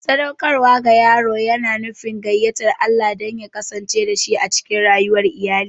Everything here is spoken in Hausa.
Sadaukarwa ga yaro yana nufin gayyatar Allah don ya kasance dashi a cikin rayuwar iyali.